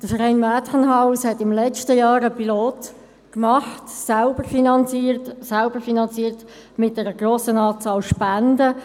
Der Verein Mädchenhaus hat im letzten Jahr einen Pilot gemacht – selbst finanziert mit einer grossen Anzahl an Spenden.